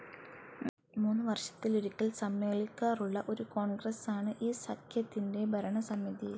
മൂന്നുവർഷത്തിലൊരിക്കൽ സമ്മേളിക്കാറുള്ള ഒരു കോൺഗ്രസ്സാണ് ഈ സഖ്യത്തിന്റെ ഭരണസമിതി.